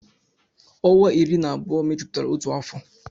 Ọnwa iri na abụọ mejupụtara otu afọ